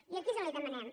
i aquí és on la hi demanem